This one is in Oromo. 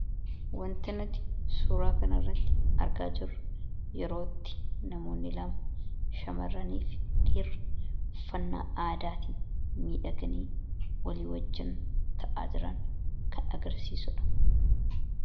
Wanti nuti suuraa kana irratti argaa jiruu kun yeroo itti namooni lama shamaraanifi dhiraawwan uffana aaddattin midhagaani ta'aa jiraan agarsisuudha.